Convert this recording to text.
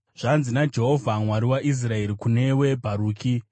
“Zvanzi naJehovha, Mwari waIsraeri, kunewe Bharuki: